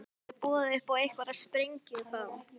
Verður boðið upp á einhverja sprengju þá?